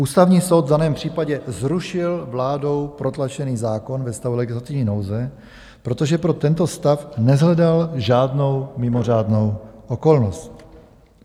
Ústavní soud v daném případě zrušil vládou protlačený zákon ve stavu legislativní nouze, protože pro tento stav neshledal žádnou mimořádnou okolnost.